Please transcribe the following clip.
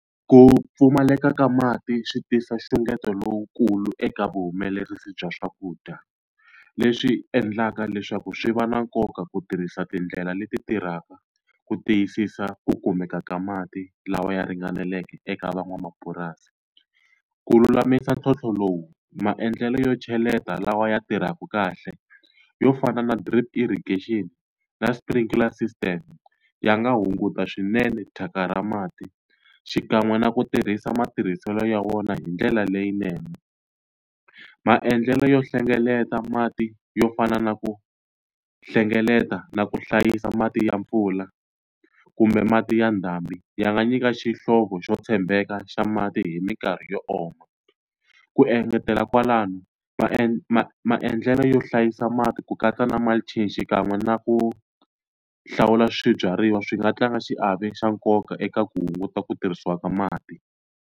Ku pfumaleka ka mati swi tisa nxungeto lowukulu eka vuhumelerisi bya swakudya. Leswi endlaka leswaku swi va na nkoka ku tirhisa tindlela leti tirhaka ku tiyisisa ku kumeka ka mati lawa ya ringaneleke eka van'wamapurasi. Ku lulamisa ntlhontlho lowu maendlelo yo cheleta lawa ya tirhaka kahle yo fana na drip irrigation, na sprinkler system ya nga hunguta swinene thyaka ra mati xikan'we na ku tirhisa matirhiselo ya vona hi ndlela leyinene. Maendlelo yo hlengeleta mati yo fana na ku hlengeleta, na ku hlayisa mati ya mpfula, kumbe mati ya ndhambi, ya nga nyika xihlovo xo tshembeka xa mati hi minkarhi yo oma. Ku engetela kwalano, maendlelo yo hlayisa mati ku katsa na mulching xikan'we na ku hlawula swibyariwa swi nga tlanga xiave xa nkoka eka ku hunguta ku tirhisiwa ka mati.